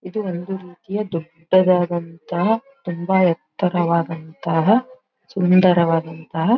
ಇದು ಒಂದು ರೀತಿಯ ದೊಡ್ಡದಾದಂತಹ ತುಂಬಾ ಎತ್ತರವಾದಂತಹ ಸುಂದರವಾದಂತಹ.--